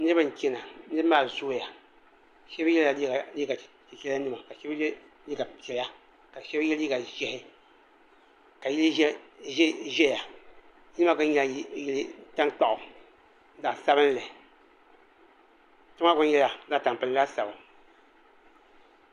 Niriba n chɛna niriba maa zooya shɛba yela liiga chichɛra nima ka shɛba ye liiga piɛlla ka shɛba ye liiga zɛhi ka yili zɛya yili maa gba nyɛla yili tankpaɣu zaɣi sabinli kpɛ maa gba nyɛla zaɣi tampilim laasabu.